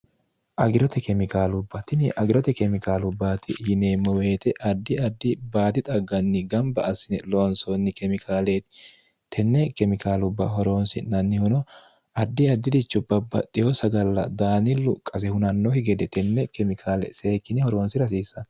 agirote kemikaalubbatini agirote kemikaalubbaati yineemmo weete addi addi baati xagganni gamba assine loonsoonni kemikaale tenne kemikaalubba horoonsi'nannihuno addi addirichubbabbaxeho sagalla daanillu qase hunannohi gede tenne kemikaale seekkine horoonsi rasiissanni